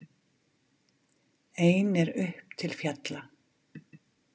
Ein er upp til fjalla.